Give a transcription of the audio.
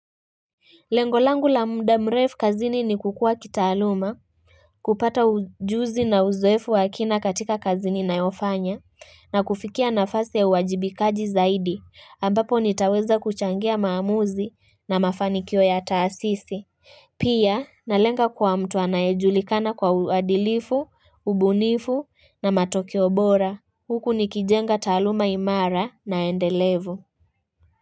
Lengolangu la mda mrefu kazini ni kukua kitaaluma, kupata ujuzi na uzoefu wakina katika kazini na yofanya, na kufikia nafasi ya uwajibikaji zaidi, ambapo nitaweza kuchangia maamuzi na mafani kio ya taasisi. Pia, na lenga kwa mtu anaejulikana kwa uadilifu, ubunifu na matokeo bora, huku nikijenga taaluma imara na endelevu.